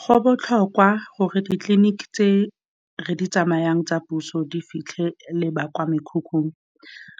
Go botlhokwa gore ditleliniki tse re di tsamayang tsa puso di fitlhele ba kwa mekhukhung,